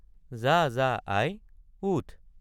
যা—যা আই উঠ।